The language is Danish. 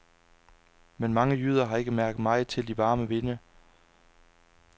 Men mange jyder har ikke mærket meget til de varme vinde.